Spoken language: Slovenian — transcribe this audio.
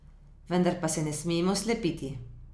Vendar pa se ne smemo slepiti.